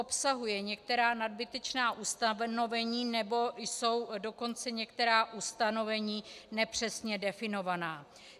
Obsahuje některá nadbytečná ustanovení, nebo jsou dokonce některá ustanovení nepřesně definovaná.